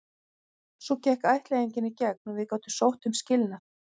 Svo gekk ættleiðingin í gegn og við gátum sótt um skilnað.